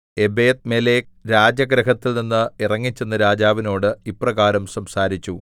Ebedmelech രാജഗൃഹത്തിൽനിന്ന് ഇറങ്ങിച്ചെന്നു രാജാവിനോട് ഇപ്രകാരം സംസാരിച്ചു